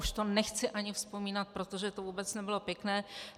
Už to nechci ani vzpomínat, protože to vůbec nebylo pěkné.